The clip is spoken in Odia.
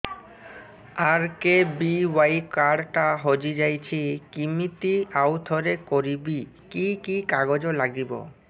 ଆର୍.କେ.ବି.ୱାଇ କାର୍ଡ ଟା ହଜିଯାଇଛି କିମିତି ଆଉଥରେ କରିବି କି କି କାଗଜ ଲାଗିବ